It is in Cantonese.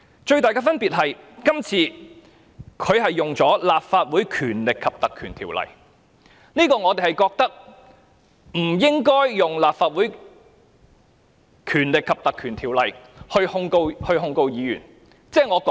最大的分別是，今次律政司是根據《條例》作出檢控，而我們認為當局不應引用《條例》來控告議員。